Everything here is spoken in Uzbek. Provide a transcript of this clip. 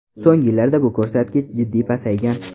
So‘nggi yillarda bu ko‘rsatkich jiddiy pasaygan.